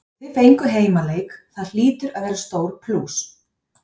Þið fenguð heimaleik, það hlýtur að vera stór plús?